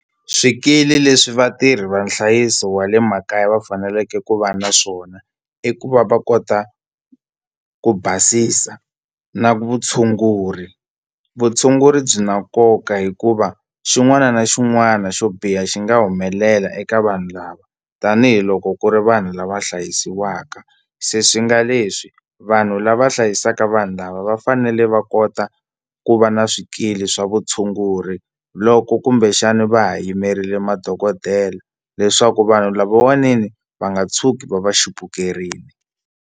Swikili leswi vatirhi va nhlayiso wa le makaya va faneleke ku va na swona i ku va va kota ku basisa na vutshunguri vutshunguri byi na nkoka hikuva xin'wana na xin'wana xo biha xi nga humelela eka vanhu lava tanihiloko ku ri vanhu lava hlayisiwaka se swi nga leswi vanhu lava hlayisaka vanhu lava va fanele va kota ku va na swikili swa vutshunguri loko kumbexani va ha yimerile madokodela leswaku vanhu lavawani ni va nga tshuki va va chupukerile.